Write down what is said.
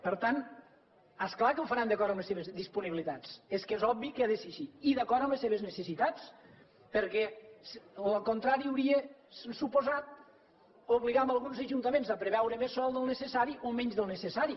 per tant és clar que ho faran d’acord amb les seves disponibilitats és que és obvi que ha de ser així i d’acord amb les seves necessitats perquè el contrari hauria suposat obligar alguns ajuntaments a preveure més sòl del necessari o menys del necessari